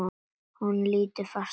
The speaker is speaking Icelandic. Hún lítur fast á mig.